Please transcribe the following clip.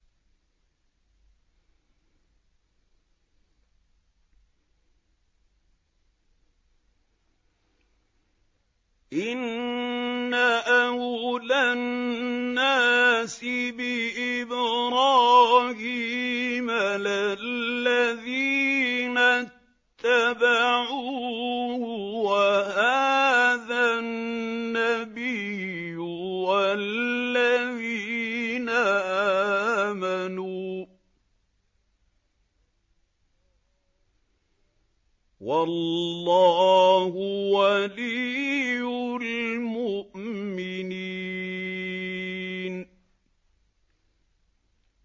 إِنَّ أَوْلَى النَّاسِ بِإِبْرَاهِيمَ لَلَّذِينَ اتَّبَعُوهُ وَهَٰذَا النَّبِيُّ وَالَّذِينَ آمَنُوا ۗ وَاللَّهُ وَلِيُّ الْمُؤْمِنِينَ